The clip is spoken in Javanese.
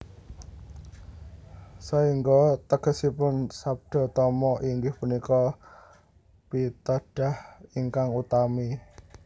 Saengga tegesipun Sabdatama inggih punika pitedah ingkang utami